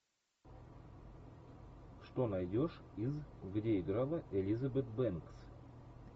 что найдешь из где играла элизабет бэнкс